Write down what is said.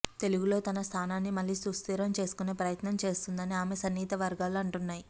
తెలుగులో తన స్థానాన్ని మళ్లి సుస్థిరం చేసుకునే ప్రయత్నం చేస్తోందని ఆమె సన్నిహిత వర్గాలు అంటున్నాయి